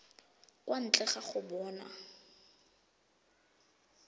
kwa ntle ga go bona